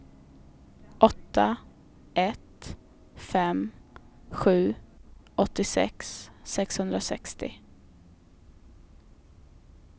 åtta ett fem sju åttiosex sexhundrasextio